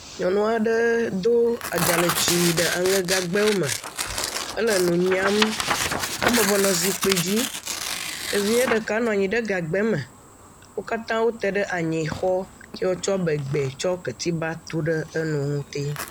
Nyɔnu aɖe do dzalẽtsi ɖe aŋegagbawo me. Ele nu nyam. Ebɔbɔ nɔ zikpui dzi. Evia ɖeka nɔ anyi ɖe gagba me. Wo katã wote ɖe anyixɔ ye wotsɔ bɛ gbãe, tsɔ ketiba tu ɖe enu.